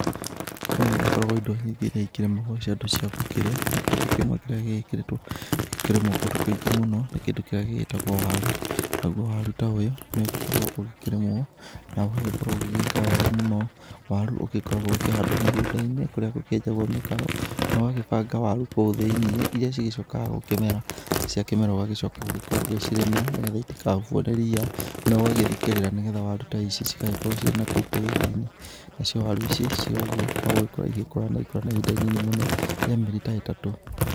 Nĩ gũgĩkoragwo indo nyingĩ iria ikĩrĩmagwo cia andũ cia gũkĩrĩa, na Kĩndũ kĩmwe kĩrĩa gĩkoragwo gĩgĩkĩrĩtwo gĩkĩrĩmwo kũndũ kũingĩ mũno,, nĩ kĩndũ kĩrĩa gĩgĩtagwo waru. Naguo waru ta ũyũ nĩ ũgĩkoragwo ũgĩkĩrĩmwo na ũgagĩkorwo ũgĩgĩka wega mũno. Waru ũgĩkoragwo ũkĩhandwo mĩgũnda-inĩ kũrĩa gũkĩenjagwo mĩkaro na ũgagĩbanga waru kou thĩ-inĩ iria cigĩcokaga gũkĩmera, ciakĩmera úgagĩcoka gũgĩkorwo ũgĩcirĩmĩra nĩgetha itikahubwo nĩ ria na ũgagĩthikĩrĩra nĩgetha waru ta ici cigagĩkorwo cirĩ na kou tĩri-inĩ, nacio waru ici cirĩ o ũguo no gũgĩkũra cigĩkũraga na igagĩkũra na ihinda rĩnini mũno rĩa mĩeri ta ĩtatũ.